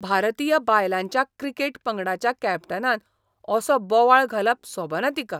भारतीय बायलांच्या क्रिकेट पंगडाच्या कॅप्टनान असो बोवाळ घालप सोबना तिका.